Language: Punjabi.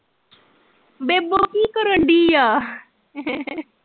ਬੇਬੋ ਕੀ ਕਰਨਡੀਆ?